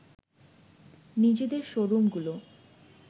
নিজেদের শোরুমগুলো